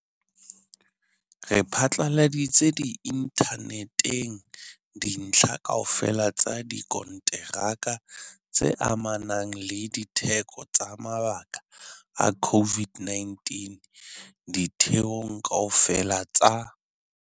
Re phatlaladitse inthaneteng dintlha kaofela tsa dikonteraka tse amanang le ditheko tsa mabaka a COVID-19 ditheong kaofela tsa